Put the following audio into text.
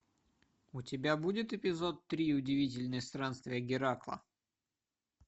у тебя будет эпизод три удивительные странствия геракла